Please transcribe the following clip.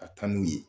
Ka taa n'u ye